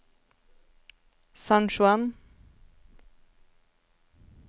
San Juan